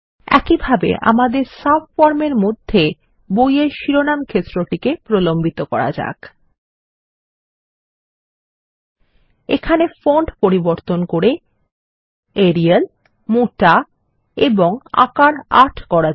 ল্টপাউসেগ্ট এখানে ফন্ট পরিবর্তন করে এরিয়াল মোটা এবং আকার ৮ করা যাক